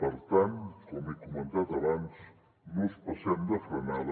per tant com he comentat abans no ens passem de frenada